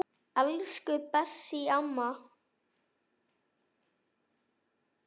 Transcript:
Elsku Bessý amma.